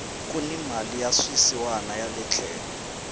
kuni mali ya swisiwana yale tlhelo